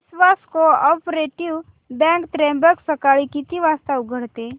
विश्वास cooperative bank Trimbak सकाळी किती वाजता उघडते